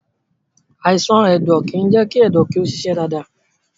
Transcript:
Àìsàn ẹ̀dọ̀ kìí jẹ́ kí ẹ̀dọ̀ ó ṣiṣẹ́ dáadáa.